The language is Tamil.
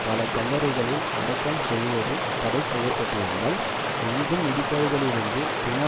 பல கல்லறைகளில் அடக்கம் செய்வது தடை பட்டிரிந்தால் எங்கும் இடிபாடுகளிலிருந்து பிண